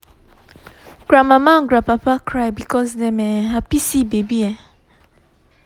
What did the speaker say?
grandmama and grandpapa cry because dem um happy see baby um